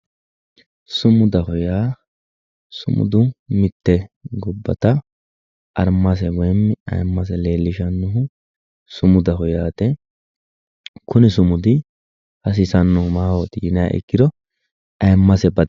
Sumudaho yaa mite gobbatta arimase woyi ayimase leelishanohu sumudaho yaate, gobbate kuni sumudi hasiisano maahoti yinniha ikkiro ayemase bade.